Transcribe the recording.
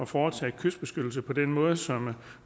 foretage kystbeskyttelse på den måde som